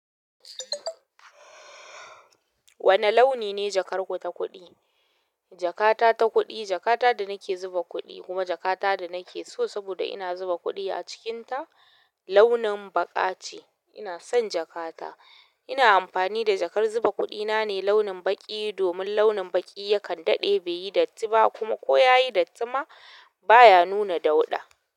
Wane launi ne jakarku ta kuɗi? Jakata ta kuɗi, jakata da nake zuba kuɗi kuma jakata da nake so saboda ina zuba kuɗi a cikin ta, launin baƙa ce. Ina son jakata. Ina amfani da jakar zuba kuɗi na ne launin baƙi domin launin baƙi yakan daɗe bai yi datti ba kuma ko ya yi datti ma. Baya nuna dauɗa.